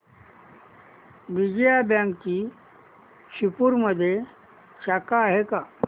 विजया बँकची शिरपूरमध्ये शाखा आहे का